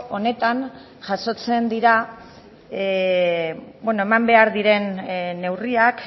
honetan jasotzen dira eman behar diren neurriak